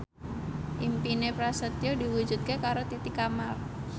impine Prasetyo diwujudke karo Titi Kamal